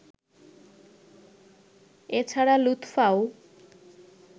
এ ছাড়া লুৎফাও